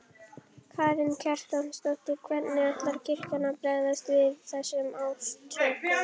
Karen Kjartansdóttir: Hvernig ætlar kirkjan að bregðast við þessum ásökunum?